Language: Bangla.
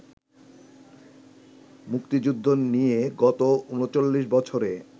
মুক্তিযুদ্ধ নিয়ে গত ৩৯ বছরে